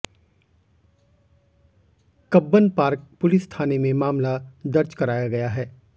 Cubbon park police थाने में मामला दर्ज कराया गया है